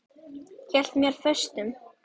Hélt mér föstum.